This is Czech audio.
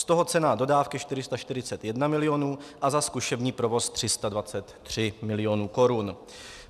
Z toho cena dodávky 441 milionů a za zkušební provoz 323 milionů korun.